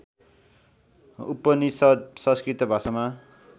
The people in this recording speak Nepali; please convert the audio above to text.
उपनिषद् संस्कृत भाषामा